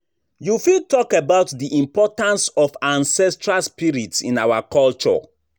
You fit talk about di importance of ancestral spirits in our culture.